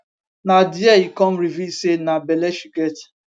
na dia e come reveal say na belle she get